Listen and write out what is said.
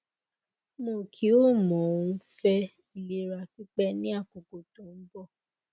mo ki o mo n fe ilera pipe ni akoko to n bo